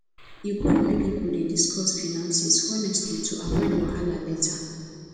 e good make pipo dey discuss finances honestly to avoid wahala later